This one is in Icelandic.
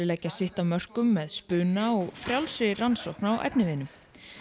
leggja sitt af mörkum með spuna og frjálsri rannsókn á efniviðnum